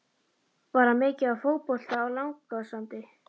Var hann mikið í fótbolta á Langasandi?